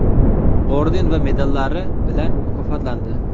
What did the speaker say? orden va medallari bilan mukofotlandi.